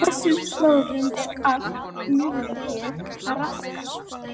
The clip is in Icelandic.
Á þessum slóðum er allt lífríki að raskast.